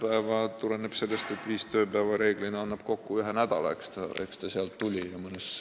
See tulenes sellest, et viis tööpäeva annab enamasti kokku ühe nädala, eks see sealt tuli.